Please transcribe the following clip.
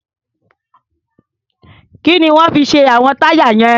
Kí ni wọ́n fi ṣe àwọn táyà yẹn?